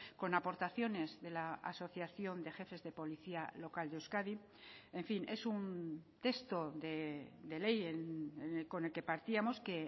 con aportaciones de la asociación de jefes de policía local de euskadi en fin es un texto de ley con el que partíamos que